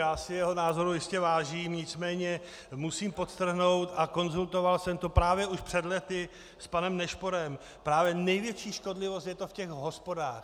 Já si jeho názoru jistě vážím, nicméně musím podtrhnout, a konzultoval jsem to právě už před lety s panem Nešporem, právě největší škodlivost je to v těch hospodách.